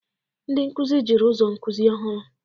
Ndị nkuzi jiri ụzọ nkuzi ọhụrụ.